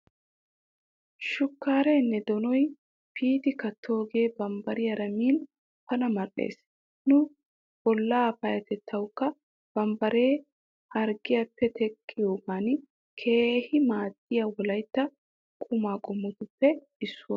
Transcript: Shukkaareenne donoy piiti kattoogee bambbariyaara min pala mal'es. Nu bollaa payyatettawukka bambbare harggiyappe teqqiyoogan keehi maaddiya wolayitta qumaa qommotuppe issuwa.